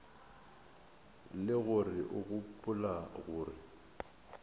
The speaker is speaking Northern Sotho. le gore o gopola gore